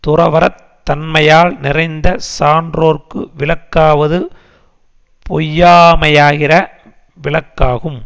துறவறத் தன்மையால் நிறைந்த சான்றோர்க்கு விளக்காவது பொய்யாமையாகிற விளக்காகும்